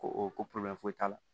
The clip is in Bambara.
Ko o ko foyi t'a la